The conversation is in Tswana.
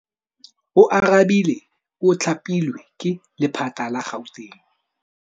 Oarabile o thapilwe ke lephata la Gauteng.